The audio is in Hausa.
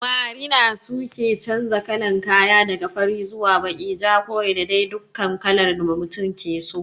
Marina su ke chanja kalan kaya, daga fari zuwa baki, ja, kore da dai dukkan kalar da mutum ke so.